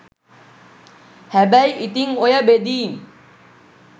හැබැයි ඉතින් ඔය බෙදීම්